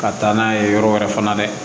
Ka taa n'a ye yɔrɔ wɛrɛ fana la